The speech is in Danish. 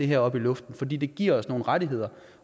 her op i luften fordi det giver nogen rettigheder